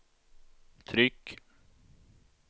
tryck